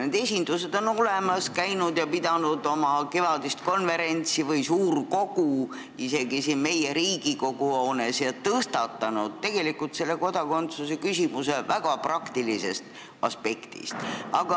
Need esindused on olemas, nad on pidanud oma kevadist konverentsi või suurkogu isegi siin Riigikogu hoones ja tõstatanud topeltkodakondsuse küsimuse väga praktilisest aspektist.